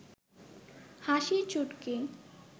হাসির চুটকি